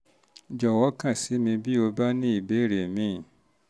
jọ̀wọ́ kàn sí mi bí ó bá ní ìbéèrè mìíràn